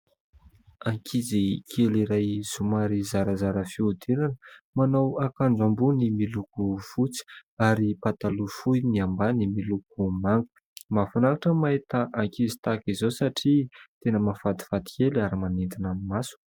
Ankizy kely iray somary zarazara fihodirana manao akanjo ambony miloko fotsy ary pataloha fohy ny ambany miloko manga. Mahafinaritra ny mahita ankizy tahaka izao satria tena mahafatifaty kely ary manintona ny maso.